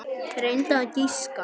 Reyndu að giska.